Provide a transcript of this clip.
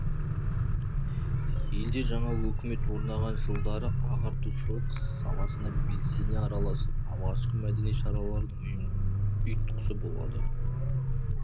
елде жаңа өкімет орнаған жылдары ағартушылық саласына белсене араласып алғашқы мәдени шаралардың ұйытқысы болады